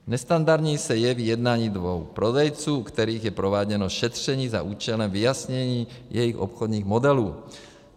Nestandardní se jeví jednání dvou prodejců, u kterých je prováděno šetření za účelem vyjasnění jejich obchodních modelů.